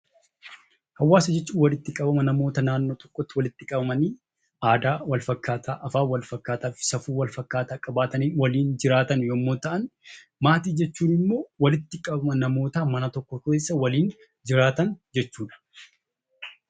Hawaasa jechuun walitti qabama namoota naannoo tokkotti walitti qabamanii aadaa walfakkaataa afaan walfakkaataa fi safuu walfakkaataa qabaatanii waliin jiraatan yommuu ta'an, maatii jechuun immoo walitti qabama namoota mana tokko keessa waliin jiraatan jechuudha.